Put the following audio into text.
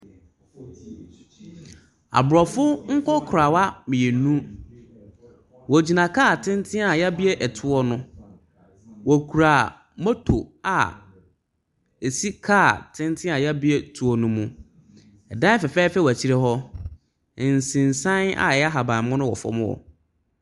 Aborɔfo nkɔkorawa mmienu. Wɔgyina kaa tenten a y'abie ɛtoɔ no. Wɔkura moto a ɛsi kaa tenten a y'abie toɔ no mu. Ɛdan fɛfɛɛfɛ wɔ akyire hɔ. Nsensan a ɛyɛ ahaban mono wɔ fam hɔ.